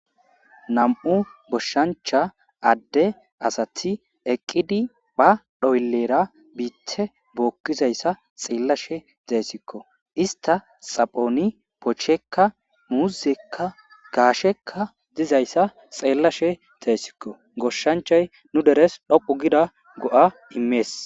Nam'u goshancha Ade asati eqidi ba xoylera biite bookizaysa xeelashe daysko. Ista xaphon bocheyka , muuzeyka ,gaasheyka dizaysa xeelashe daysko , goshanchay nu deres dhoqu gida go'a imesi.